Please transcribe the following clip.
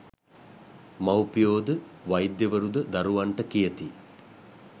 මව්පියෝ ද වෛද්‍යවරු ද දරුවන්ට කියති.